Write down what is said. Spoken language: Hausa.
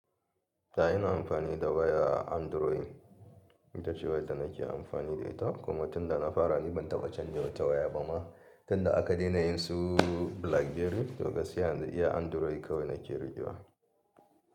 To ina amfani da waya Android, ita ce waya da nake amfani da ita kuma tunda na fara ni ban taɓa canja wa ta waya ba ma. Tunda aka daina yin su Blackberry, to gaski yanzu iya Android kawai nake riƙewa.